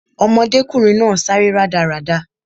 Ọmọdékùnrin náà sáré rádaràda